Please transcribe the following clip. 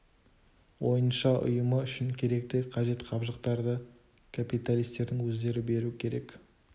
ойынша ұйымы үшін керекті қажет жабдықтарды капиталистердің өздері беру керек